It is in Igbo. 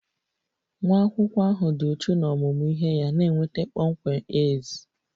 Nwa akwụkwọ ahụ dị uchu n'ọmụmụ ihe ya na-enweta kpọmkwem A's